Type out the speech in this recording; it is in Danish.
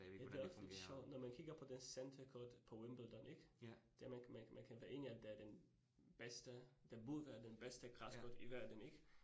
Ja det også lidt sjovt, når man kigger på det Center Court på Wimbledon ik? Det er man kan man kan være enig i det er den bedste, det burde være den bedste græscourt i verden ik?